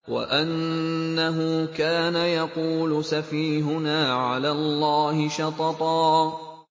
وَأَنَّهُ كَانَ يَقُولُ سَفِيهُنَا عَلَى اللَّهِ شَطَطًا